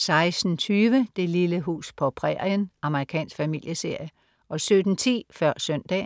16.20 Det lille hus på prærien. Amerikansk familieserie 17.10 Før Søndagen